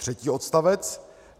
Třetí odstavec.